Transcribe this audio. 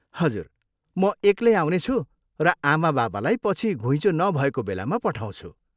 हजुर, म एक्लै आउनेछु र आमाबाबालाई पछि घुइँचो नभएको बेलामा पठाउँछु।